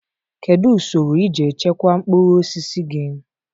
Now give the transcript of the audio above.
Kedu usoro iji echekwaa mkpụrụ osisi gị?